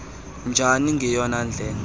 njani ngeyona ndlela